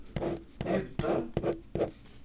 Utö